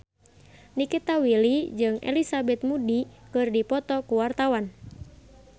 Nikita Willy jeung Elizabeth Moody keur dipoto ku wartawan